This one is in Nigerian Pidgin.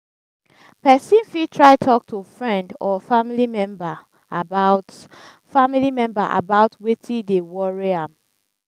pesin fit try talk to friend or family member about family member about weti dey worry am.